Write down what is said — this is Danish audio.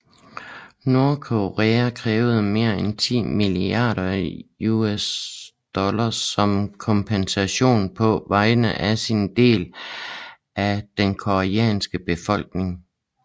Nordkorea krævede mere end 10 milliarder USD som kompensation på vegne af sin del af den koreanske befolkning